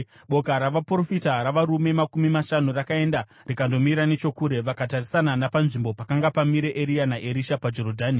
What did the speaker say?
Boka ravaprofita, ravarume makumi mashanu, rakaenda rikandomira nechokure, vakatarisana napanzvimbo pakanga pamire Eria naErisha paJorodhani.